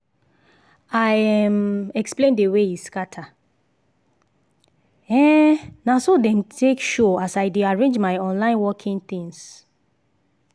i um explain the way e scatter - um na so dem take show as i dey arrange my online working things